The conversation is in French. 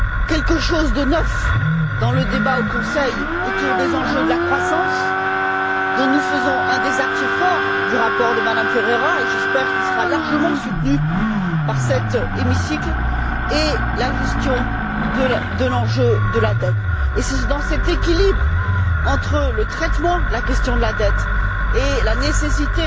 quelque chose de neuf dans le débat au Conseil autour des enjeux de la croissance, dont nous faisons un des axes forts du rapport de Mme Ferreira et j'espère qu'il sera largement soutenu par cet hémicycle et la gestion de l'enjeu de la dette. C'est cet équilibre entre le traitement de la question de la dette et la nécessité